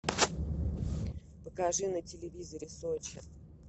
покажи на телевизоре сочи